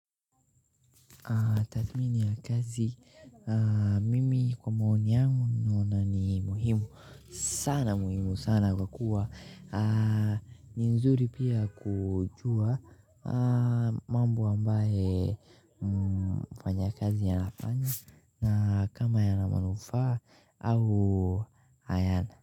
Tathmini ya kazi, mimi kwa maoni yangu ninaona ni muhimu sana. Muhimu sana kwa kuwa ni vizuri pia kujua mambo ambayo mfanyakazi anafanya na kama yana manufaa au hayana.